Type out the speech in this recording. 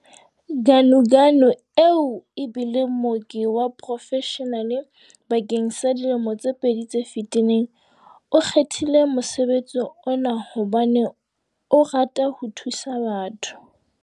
Ganuganu, eo e bileng mooki wa porofeshenale bakeng sa dilemo tse pedi tse fetileng, o kgethile mosebetsi ona hobane o rata ho thusa batho.